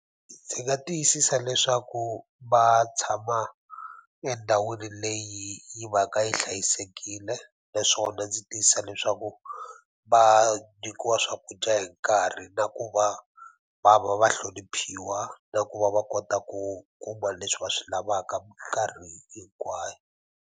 Ndzi nga tiyisisa leswaku va tshama endhawini leyi yi va ka yi hlayisekile naswona ndzi tiyisisa leswaku va nyikiwa swakudya hi nkarhi na ku va va va va hloniphiwa na ku va va kota ku kuma leswi va swi lavaka mikarhi hinkwayo.